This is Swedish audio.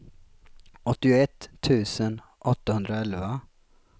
åttioett tusen åttahundraelva